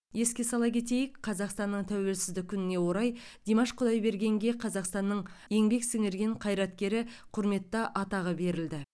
еске сала кетейік қазақстанның тәуелсіздік күніне орай димаш құдайбергенге қазақстанның еңбек сіңірген қайраткері құрметті атағы берілді